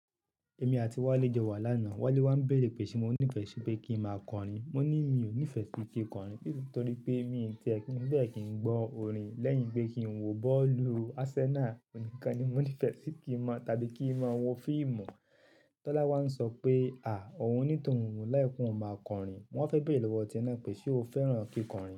Èmi àti Wálé jọ wà láàná, Wálé wà ń bèrè pé ṣé mo nífẹ̀ẹ́ ṣé kí n máa kọrin? Mo ní mi ò nífẹ̀ẹ́ pé kí n kọrin nítorí pé mi ò tí è kí n bẹ́ẹ̀ kí n gbọ́ orin lẹ́yìn pé kí n wo bọ́ọ̀lù Arsenal nìkan ni mo nífẹ̀ẹ́ sí kí n mọ tàbí kí n máa wo fíìmù. Tọ́lá wá ń sọ pé à ó hun ní tòun oún like ki oun máa kọrin. Mo wa fẹ́ bèrè lọ́wọ́ tie náà pé ṣe o fẹ́ràn kí kọrin?